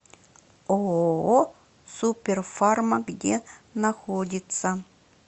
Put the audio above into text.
ооо супер фарма где находится